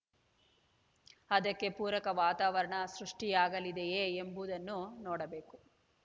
ಅದಕ್ಕೆ ಪೂರಕ ವಾತಾವರಣ ಸೃಷ್ಟಿಯಾಗಲಿದೆಯೇ ಎಂಬುದನ್ನು ನೋಡಬೇಕು